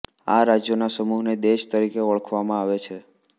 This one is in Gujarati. આ રાજ્યોના સમૂહને દેશ તરીકે ઓળખવામાં આવે છે